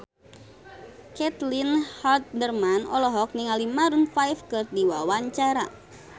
Caitlin Halderman olohok ningali Maroon 5 keur diwawancara